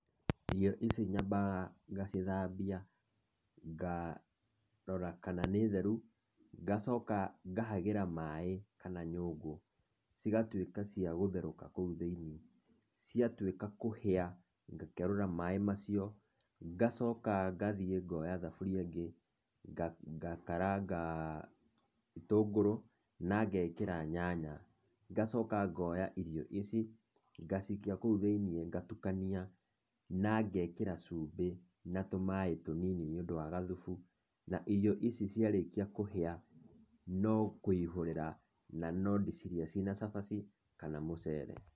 Ici njambaga ngacithambia ngarora kana nĩ theru, ngacoka ngahagĩra maĩ kana nyũngũ cigatuĩka cia gũtherũka kũu thĩinĩ, cia tuĩka kũhĩa ngakerũra maĩ macio ngacoka ngathiĩ ngoya thaburia ĩngĩ ngakaranga gĩtũngũrũ na ngekĩra nyanya, ngacoka ngoya irio ici ngacikia kũu thĩinĩ ngatukania na ngekĩra chumbĩ na tũmaĩ tũnini nĩ ũndũ wa gathubu na irio ici ciarĩkia kũhĩa no kũihũrĩra na ndũcirĩe ciĩna cabaci kana mũcere